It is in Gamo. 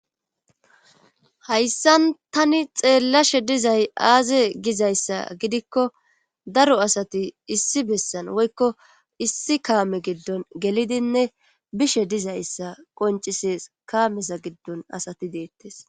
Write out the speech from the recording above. hayssan tani xeellashe dizay aaze gizayssa gidikko daro asati issi bessan woykko issi kaame giddon gelidinne bishe dizayssa qoncises kaameza giddon asati deettes